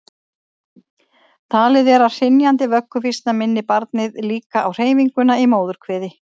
talið er að hrynjandi vögguvísna minni barnið líka á hreyfinguna í móðurkviði